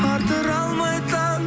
атыра алмай таң